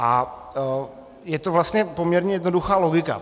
A je to vlastně poměrně jednoduchá logika.